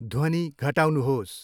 ध्वनि घटाउनुहोस्।